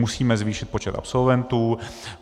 Musíme zvýšit počet absolventů.